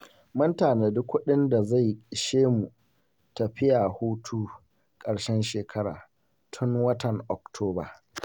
Mun tanadi kuɗin da zai ishe mu tafiya hutun ƙarshen shekara, tun watan Oktoba.